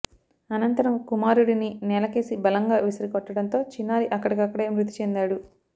అనంతరం కుమారుడిని నేలకేసి బలంగా విసిరికొట్టడంతో చిన్నారి అక్కడికక్కడే మృతి చెందాడు